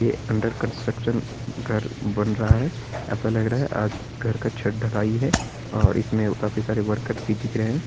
ये under construction घर बन रहा है ऐसा लग रहा है आज घर का छत ढलाई है और इसमें काफी सारे वर्कर भी दिख रहे हैं।